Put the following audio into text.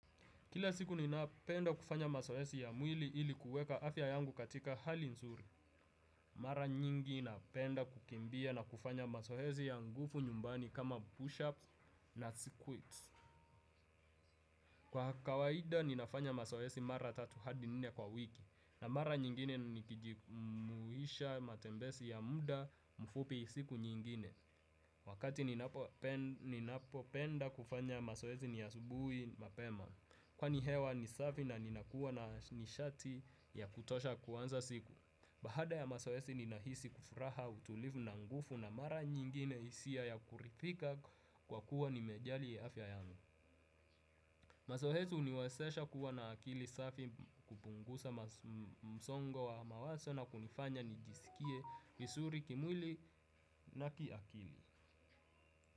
Kila siku ninapenda kufanya masoesi ya mwili ili kueka afya yangu katika hali nzuri. Mara nyingi napenda kukimbia na kufanya masoesi ya ngufu nyumbani kama pushups na squids. Kwa kawaida ninafanya masoesi mara tatu hadi nne kwa wiki. Na mara nyingine nikijumuhisha matembesi ya muda mfupi siku nyingine. Wakati ninapopenda kufanya masoesi ni asubuhi mapema. Kwani hewa ni safi na ninakuwa na nishati ya kutosha kuanza siku. Bahada ya masoesi ninahisi kufuraha utulivu na ngufu na mara nyingine isia ya kurithika kwa kuwa nimejali afya yangu. Masohesi uniwesesha kuwa na akili safi kupungusa msongo wa mawaso na kunifanya nijisikie visuri kimwili na kiakili.